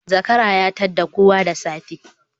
Zakara ya tadda kowa da safe